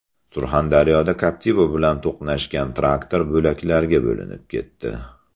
Surxondaryoda Captiva bilan to‘qnashgan traktor bo‘laklarga bo‘linib ketdi.